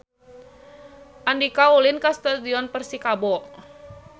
Andika ulin ka Stadion Persikabo